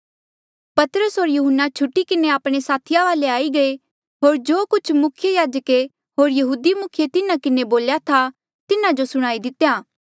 पतरस होर यहुन्ना छुटी किन्हें आपणे साथिया वाले आई गये होर जो कुछ मुख्य याजके होर यहूदी मुखिये तिन्हा किन्हें बोल्या था तिन्हा जो सुणाई दितेया